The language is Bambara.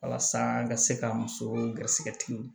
Walasa an ka se ka musow garisɛgɛ tigiw ye